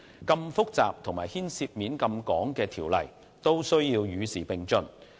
如此複雜及牽涉廣泛層面的條例也需要與時並進。